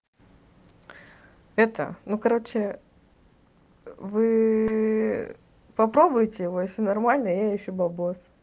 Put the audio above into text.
это ну короче вы попробуйте у вас всё нормально а я ищу деньги